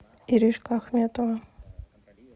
иришка ахметова